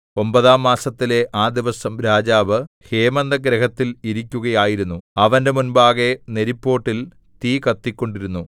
ഒമ്പതാം മാസത്തിലെ ആ ദിവസം രാജാവ് ഹേമന്തഗൃഹത്തിൽ ഇരിക്കുകയായിരുന്നു അവന്റെ മുമ്പാകെ നെരിപ്പോട്ടിൽ തീ കത്തിക്കൊണ്ടിരുന്നു